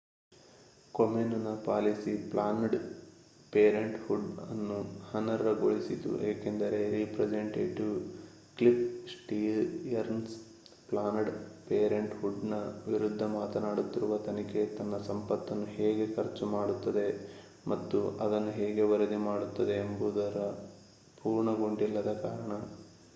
ಕೊಮೆನ್ ನ policy Planned Parenthood ಅನ್ನು ಅನರ್ಹ ಗೊಳಿಸಿತು ಏಕೆಂದರೆ representative Cliff Stearns Planned Parenthood ನ ವಿರುದ್ಧ ಮಾಡುತ್ತಿರುವ ತನಿಖೆ ತನ್ನ ಸಂಪತ್ತನ್ನು ಹೇಗೆ ಖರ್ಚು ಮಾಡುತ್ತದೆ ಮತ್ತು ಅದನ್ನು ಹೇಗೆ ವರದಿ ಮಾಡುತ್ತದೆ ಎನ್ನುವುದರ ಪೂರ್ಣಗೊಂಡಿಲ್ಲದ ಕಾರಣ